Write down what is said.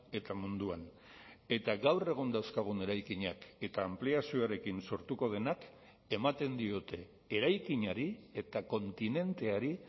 eta munduan eta gaur egun dauzkagun eraikinak eta anpliazioarekin sortuko denak ematen diote eraikinari eta kontinenteari